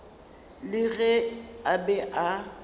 le ge a be a